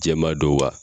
Jɛman don wa